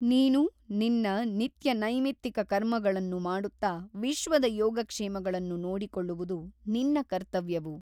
ನೀನು ನಿನ್ನ ನಿತ್ಯನೈಮಿತ್ತಿಕ ಕರ್ಮಗಳನ್ನು ಮಾಡುತ್ತ ವಿಶ್ವದ ಯೋಗಕ್ಷೇಮಗಳನ್ನು ನೋಡಿಕೊಳ್ಳುವುದು ನಿನ್ನ ಕರ್ತವ್ಯವು.